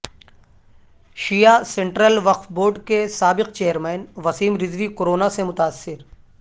شیعہ Central Waqf Board کے سابق chairman Wasim Rizvi Corona سے متاثر